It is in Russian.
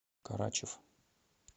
карачев